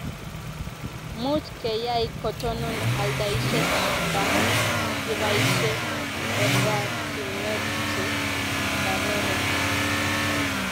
much keyai kotonon aldaishet nda kibaishe oratinwek che karoron